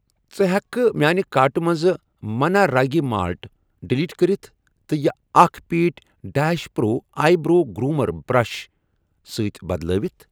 ژٕ ہیٚکھا میانہِ کارٹہٕ مَنٛز مَننا راگی مالٹ ڈِلیٖٹ کٔرِتھ تہٕ یہِ اکھَ پیٖٹۍ ڈیٚش pro eyebrow groomer brush سۭتۍ بدلٲوِتھ؟